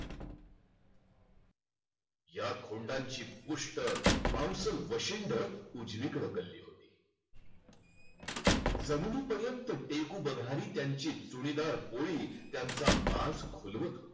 या खोंडांची पुष्ठ वशिंड उजवीकडे कलली होती. जमिनीपर्यंत टेकू बघणारी त्यांची चुलीवर पोळी त्यांचा माज खुलवत होती.